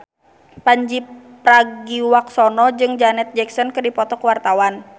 Pandji Pragiwaksono jeung Janet Jackson keur dipoto ku wartawan